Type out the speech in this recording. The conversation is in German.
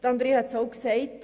Andrea hat es auch gesagt: